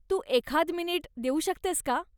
तू एखाद मिनिट देऊ शकतेस का?